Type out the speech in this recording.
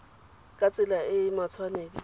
ka tsela e e matshwanedi